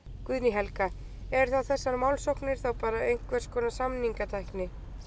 Guðný Helga: Eru þá þessar málsóknir þá bara einhvers konar samningatækni?